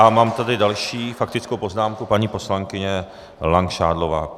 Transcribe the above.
A mám tady další faktickou poznámku - paní poslankyně Langšádlová.